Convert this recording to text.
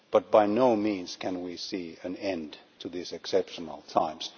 By no means can we see an end to these exceptional times.